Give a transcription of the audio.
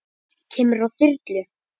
Kemurðu á þyrlu?